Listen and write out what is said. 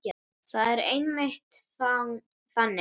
Það er einmitt þannig.